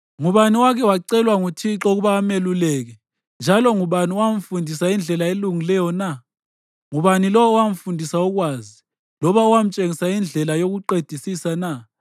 Ngubani owake wacelwa nguThixo ukuba ameluleke, njalo ngubani owamfundisa indlela elungileyo na? Ngubani lowo owamfundisa ukwazi, loba owamtshengisa indlela yokuqedisisa na?